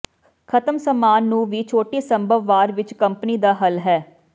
ਖਤਮ ਸਾਮਾਨ ਨੂੰ ਵੀ ਛੋਟੀ ਸੰਭਵ ਵਾਰ ਵਿੱਚ ਕੰਪਨੀ ਦਾ ਹੱਲ ਹੈ